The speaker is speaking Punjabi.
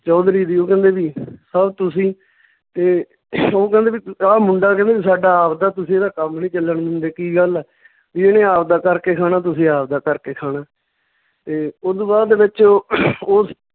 ਚੌਧਰੀ ਦੀ ਓਹ ਕਹਿੰਦੇ ਵੀ sir ਤੁਸੀਂ ਤੇ ਓਹ ਕਹਿੰਦੇ ਵੀ ਆਹ ਮੁੰਡਾ ਕਹਿੰਦਾ ਵੀ ਸਾਡਾ ਆਵਦਾ, ਤੁਸੀਂ ਇਹਦਾ ਕੰਮ ਨੀ ਚੱਲਣ ਦਿੰਦੇ, ਕੀ ਗੱਲ ਆ ਵੀ ਇਹਨੇ ਆਵਦਾ ਕਰਕੇ ਖਾਣਾ, ਤੁਸੀਂ ਆਵਦਾ ਕਰਕੇ ਖਾਣਾ ਤੇ ਓਦੂ ਬਾਅਦ ਦੇ ਵਿੱਚ ਉਹ